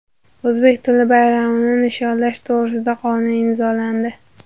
O‘zbek tili bayramini nishonlash to‘g‘risida qonun imzolandi.